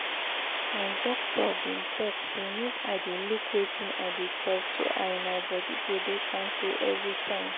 my doctor been talk say make i dey look wetin i dey chop so i my body go dey kampe every time